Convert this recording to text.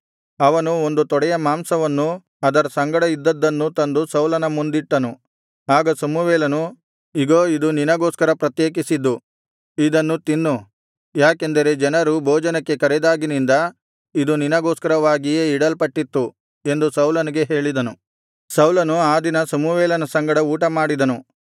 ಅವನು ಒಂದು ತೊಡೆಯ ಮಾಂಸವನ್ನೂ ಅದರ ಸಂಗಡ ಇದ್ದದ್ದನ್ನೂ ತಂದು ಸೌಲನ ಮುಂದಿಟ್ಟನು ಆಗ ಸಮುವೇಲನು ಇಗೋ ಇದು ನಿನಗೋಸ್ಕರ ಪ್ರತ್ಯೇಕಿಸಿದ್ದು ಇದನ್ನು ತಿನ್ನು ಯಾಕೆಂದರೆ ಜನರನ್ನು ಭೋಜನಕ್ಕೆ ಕರೆದಾಗಿನಿಂದ ಇದು ನಿನಗೋಸ್ಕರವಾಗಿಯೇ ಇಡಲ್ಪಟ್ಟಿತ್ತು ಎಂದು ಸೌಲನಿಗೆ ಹೇಳಿದನು ಸೌಲನು ಆ ದಿನ ಸಮುವೇಲನ ಸಂಗಡ ಊಟಮಾಡಿದನು